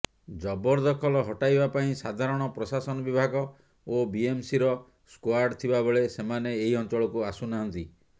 ଜବରଦଖଲ ହଟାଇବାପାଇଁ ସାଧାରଣ ପ୍ରଶାସନ ବିଭାଗ ଓ ବିଏମ୍ସିର ସ୍କାଡ୍ ଥିବାବେଳେ ସେମାନେ ଏହି ଅଞ୍ଚଳକୁ ଆସୁନାହାନ୍ତି